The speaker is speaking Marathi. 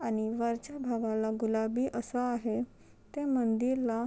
आणि वरच्या भागाला गुलाबी असा आहे त्या मंदिर ला--